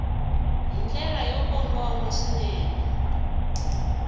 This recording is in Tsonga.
hi ndlela yo kongoma swinene